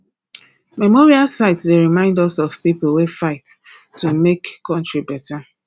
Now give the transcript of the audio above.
memorial sites dey remind us of people wey fight to make country better